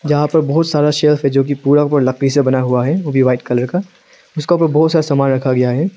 यहां पर बहोत सारा शेल्फ है जो कि पूरा का पूरा लकड़ी से बना हुआ है वो भी वाइट कलर उसका ऊपर बहुत सारा सामान रखा गया है।